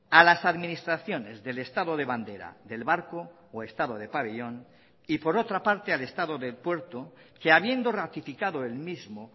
a las administraciones del estado de bandera del barco o estado de pabellón y por otra parte al estado de puerto que habiendo ratificado el mismo